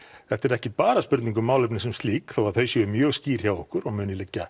þetta er ekki bara spurning um málefni sem slík þó að þau séu mjög skýr hjá okkur og muni liggja